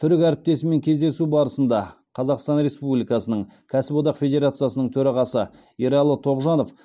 түрік әріптесімен кездесу барысында қазақстан республикасының кәсіподақ федерациясының төрағасы ералы тоғжанов